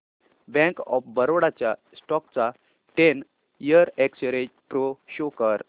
bank of Baroda च्या stock चा ten year x-ray pro show कर